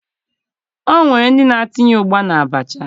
O nwere ndị na-etinye ụgba n'abacha